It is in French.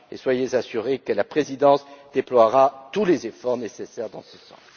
Soyez assurés que la Présidence déploiera tous les efforts nécessaires dans ce sens.